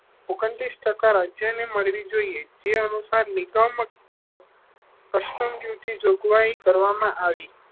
ઓગણત્રીસ ટકા રાજ્યો ને મળવી જોઈએ જે અનુસાર નિગમ કર કસ્ટમ ડ્યુટીની જોગવાઈ કરવામાં આવી છે.